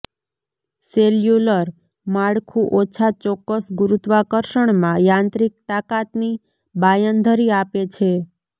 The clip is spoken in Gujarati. સેલ્યુલર માળખું ઓછા ચોક્કસ ગુરુત્વાકર્ષણમાં યાંત્રિક તાકાતની બાંયધરી આપે છે